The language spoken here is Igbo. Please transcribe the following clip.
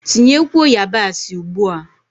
Tinyekwuo yabasị ugbua!